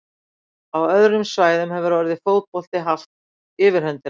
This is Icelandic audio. Á öðrum svæðum hefur orðið fótbolti haft yfirhöndina.